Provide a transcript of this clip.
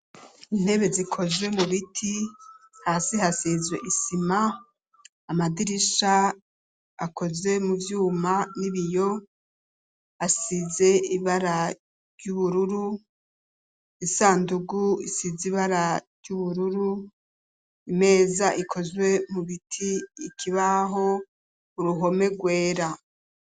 Intebe, zikozwe mu biti; hasi hasizwe isima; amadirisha, akoze mu vyuma n'ibiyo, asize ibara ry'ubururu; isandugu, isize ibara ry'ubururu; imeza ikozwe mu biti; ikibaho, uruhome rwera.